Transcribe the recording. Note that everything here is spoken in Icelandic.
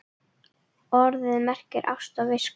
Orðið merkir ást á visku.